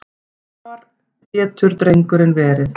Hvar getur drengurinn verið?